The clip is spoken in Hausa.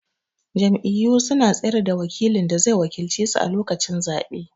Jam'iyyu suna tsayar da wakilin da zai wakilce su a lokacin zabe.